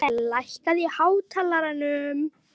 Asael, lækkaðu í hátalaranum.